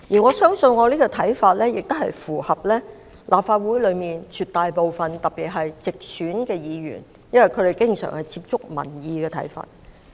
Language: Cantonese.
我相信這個看法亦符合立法會內絕大部分議員的意見，因為他們能經常接觸民意。